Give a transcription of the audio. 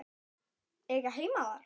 Eiga heima þar?